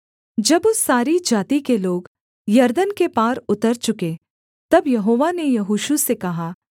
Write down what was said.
जब उस सारी जाति के लोग यरदन के पार उतर चुके तब यहोवा ने यहोशू से कहा